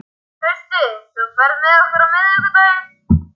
Trausti, ferð þú með okkur á miðvikudaginn?